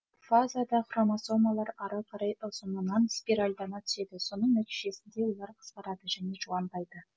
профазада хромосомалар ары қарай ұзынынан спиральдана түседі соньң нәтижесінде олар қысқарады және жуандайды